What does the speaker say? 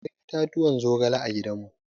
Akwai itatuwan zogale a gidan mu.